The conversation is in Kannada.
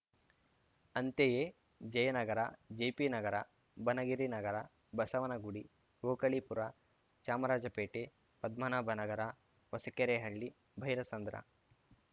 ಅಂತೆಯೇ ಜಯನಗರ ಜೆಪಿನಗರ ಬನಗಿರಿ ನಗರ ಬಸವನಗುಡಿ ಓಕಳಿಪುರ ಚಾಮರಾಜಪೇಟೆ ಪದ್ಮನಾಭನಗರ ಹೊಸಕೆರೆಹಳ್ಳಿ ಭೈರಸಂದ್ರ